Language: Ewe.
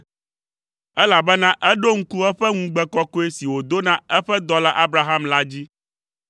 Elabena eɖo ŋku eƒe ŋugbe kɔkɔe si wòdo na eƒe dɔla Abraham la dzi.